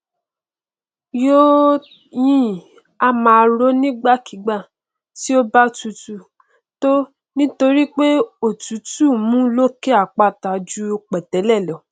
tó yìnyín a máa rọ nígbàkígbà tí ó bá tutù tó nítorípé òtútù mú lókè àpáta ju pẹtẹlẹ lọ